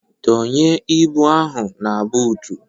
Dọnye ibu ndị ahụ na buutu!